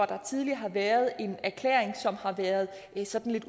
der tidligere har været en erklæring som har været sådan